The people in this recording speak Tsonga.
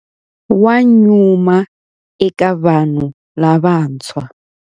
Wa nyuma eka vanhu lavantshwa.